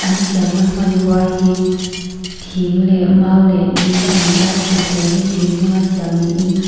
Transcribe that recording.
a siamna hmanrua hi thing leh mau leh di a ni a thutthleng hi thing hmanga siam niin--